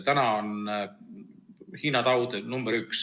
Täna on Hiina taud nr 1.